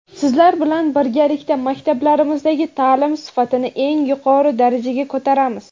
sizlar bilan birgalikda maktablarimizdagi ta’lim sifatini eng yuqori darajaga ko‘taramiz.